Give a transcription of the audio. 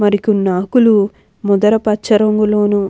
మరి కొన్ని ఆకులు ముదర పచ్చ రంగులోను--